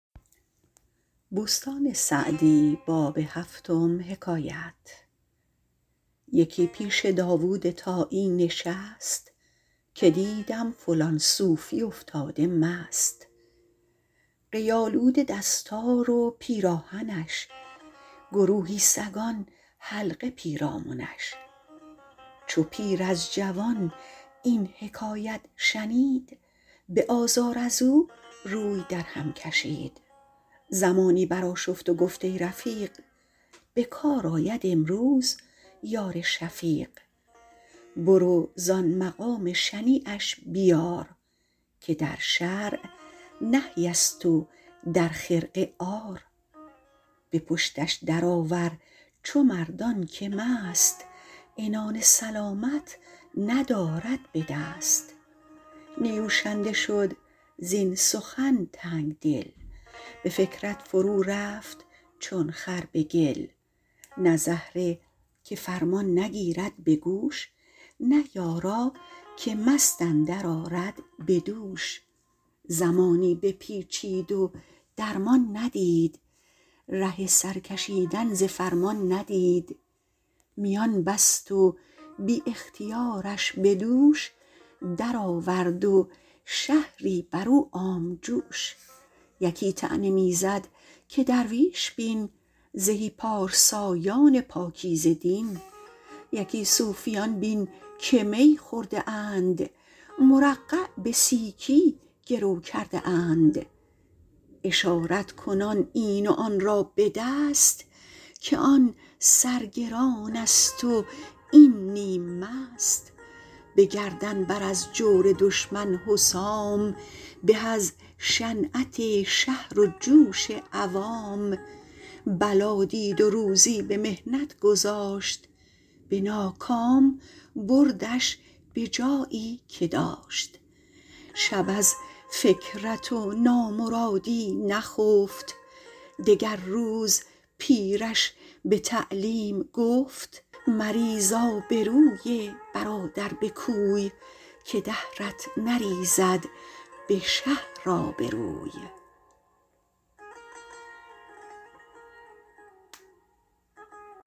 یکی پیش داود طایی نشست که دیدم فلان صوفی افتاده مست قی آلوده دستار و پیراهنش گروهی سگان حلقه پیرامنش چو پیر از جوان این حکایت شنید به آزار از او روی در هم کشید زمانی بر آشفت و گفت ای رفیق به کار آید امروز یار شفیق برو زآن مقام شنیعش بیار که در شرع نهی است و در خرقه عار به پشتش در آور چو مردان که مست عنان سلامت ندارد به دست نیوشنده شد زین سخن تنگدل به فکرت فرو رفت چون خر به گل نه زهره که فرمان نگیرد به گوش نه یارا که مست اندر آرد به دوش زمانی بپیچید و درمان ندید ره سر کشیدن ز فرمان ندید میان بست و بی اختیارش به دوش در آورد و شهری بر او عام جوش یکی طعنه می زد که درویش بین زهی پارسایان پاکیزه دین یکی صوفیان بین که می خورده اند مرقع به سیکی گرو کرده اند اشارت کنان این و آن را به دست که آن سر گران است و این نیم مست به گردن بر از جور دشمن حسام به از شنعت شهر و جوش عوام بلا دید و روزی به محنت گذاشت به ناکام بردش به جایی که داشت شب از فکرت و نامرادی نخفت دگر روز پیرش به تعلیم گفت مریز آبروی برادر به کوی که دهرت نریزد به شهر آبروی